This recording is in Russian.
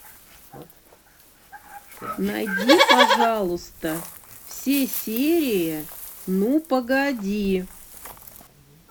найди пожалуйста все серии ну погоди